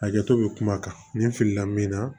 Hakɛto bɛ kuma kan nin filila min na